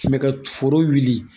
Mɛ ka foro wuli